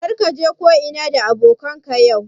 Kar ka je ko'ina da abokanan ka yau